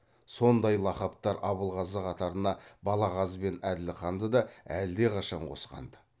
сондай лақаптар абылғазы қатарына балағаз бен әділханды да әлдеқашан қосқанды